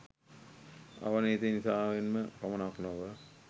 අවනතීන් නිසාවෙන්ම පමණක් නොව